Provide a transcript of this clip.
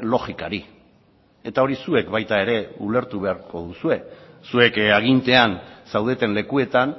logikari eta hori zuek baita ere ulertu beharko duzue zuek agintean zaudeten lekuetan